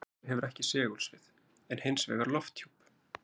Venus hefur ekki segulsvið, en hins vegar lofthjúp.